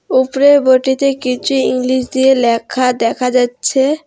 উপরের বোর্ডটিতে কিছু ইংলিশ দিয়ে ল্যাখা দেখা যাচ্ছে।